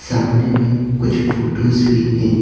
सामने में कुछ फोटोज भी हैं।